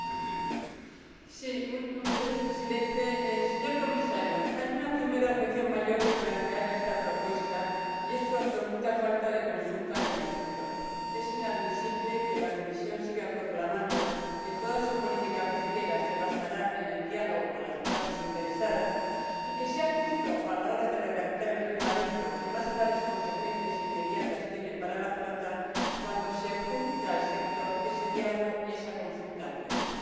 en nombre del Grupo del PPE DE. Señor Presidente, Señor Comisario, hay una primera objeción mayor que plantear a esta propuesta, y es su absoluta falta de consulta con el sector. Es inadmisible que la Comisión siga proclamando que toda su política pesquera se basará en el diálogo con las partes interesadas y que sea justo a la hora de redactar el reglamento que más graves consecuencias inmediatas tiene para la flota cuando se hurta al sector ese diálogo y esa consulta previa.